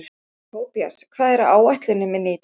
Tobías, hvað er á áætluninni minni í dag?